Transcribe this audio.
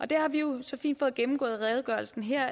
det har vi jo så fint fået gennemgået i redegørelsen her